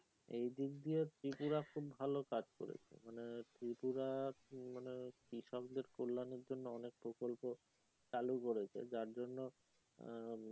এই দিক দিয়ে ত্রিপুরা খুব ভালো কাজ করেছে মানে ত্রিপুরা মানে ত্রিসংযোগ কল্যাণের জন্য অনেক প্রকল্প চালু করেছে যার জন্য আহ